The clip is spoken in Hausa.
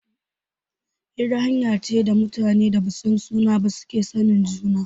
Hira hanya ne da mutanen da basu san juna ba suke sanin juna